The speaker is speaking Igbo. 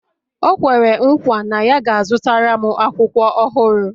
O kwere nkwa na ya ga-azụtara m akwụkwọ ọhụrụ